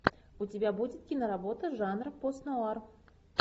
у тебя будет киноработа жанр постнуар